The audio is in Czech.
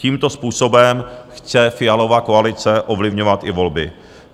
Tímto způsobem chce Fialova koalice ovlivňovat i volby.